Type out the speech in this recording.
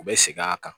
U bɛ segin a kan